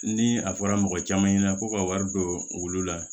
Ni a fɔra mɔgɔ caman ɲɛna ko ka wari don olu la